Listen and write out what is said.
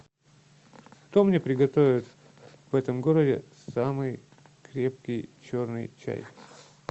кто мне приготовит в этом городе самый крепкий черный чай